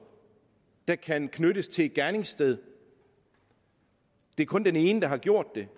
der kan knyttes til et gerningssted det er kun den ene der har gjort det